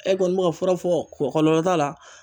E kɔni bɛ ka fura fɔ kɔlɔlɔ t'a la?